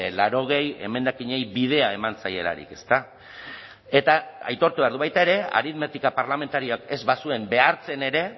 laurogei emendakinei bidea eman zaielarik eta aitortu behar du baita ere aritmetika parlamentarioak ez bazuen behartzen ere